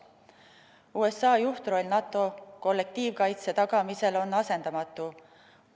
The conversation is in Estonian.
USA juhtroll NATO kollektiivkaitse tagamisel on asendamatu.